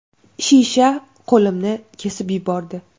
Shisha qo‘limni kesib yubordi.